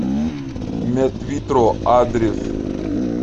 медвитро адрес